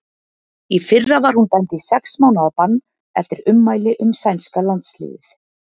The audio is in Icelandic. Í fyrra var hún dæmd í sex mánaða bann eftir ummæli um sænska landsliðið.